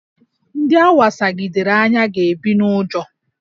Ndị a wasagidere anya ga-ebi n'ụjọ